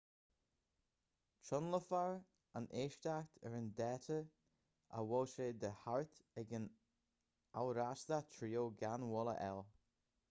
tionólfar an éisteacht ar an dáta ar a bhfuil sé de cheart ag an amhrastach triail gan mhoill a fháil